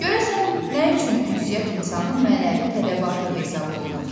Görəsən nə üçün ünsiyyət insanın mənəvi tələbatı hesab olunur?